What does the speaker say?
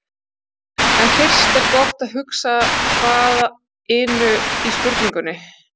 En fyrst er gott að huga að hvað-inu í spurningunni.